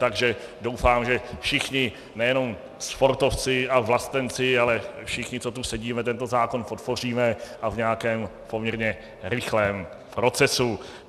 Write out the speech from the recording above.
Takže doufám, že všichni, nejenom sportovci a vlastenci, ale všichni, co tu sedíme, tento zákon podpoříme, a v nějakém poměrně rychlém procesu.